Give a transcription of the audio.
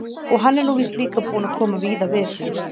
Og hann er nú víst líka búinn að koma víða við.